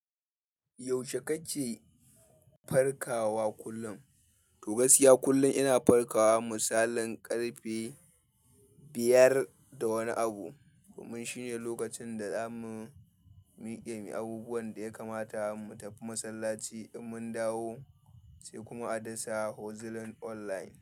Yaushe kake farkawa kullum? To gaskiya kullum ina farkawa. Misalin ƙarfe biyar da wani abu. Kuma shine lokacin da zamu miƙe muyi abubuwan da ya kamata mu tafi masallaci in mun dawo sai kuma a dasa hozilin online.